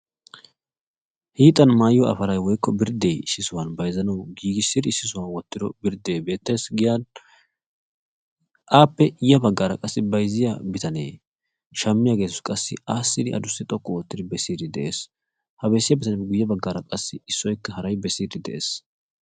hiixan maayiyo afalay woykko birdde issisan bayzzanawu giigissidi issi sohuwan wottido birde beettes giyan. aappe ya baggaara qassi bayzziya bitane shammiya geetussi qassi aassidi adussi xoqqu oottidi bessiiddi de'es. ha bessiya bitaniyappe guyye baggaara qassi issoyikka haray bessiiddi de'es.